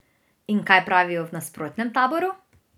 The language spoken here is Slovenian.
In kaj pravijo v nasprotnem taboru?